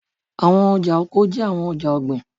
Awọn ọja oko jẹ awọn ọja ogbin